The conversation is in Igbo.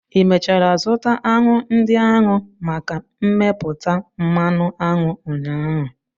Ị mechara zụta aṅụ ndị ahụ maka mmepụta mmanụ aṅụ ụnyaahụ?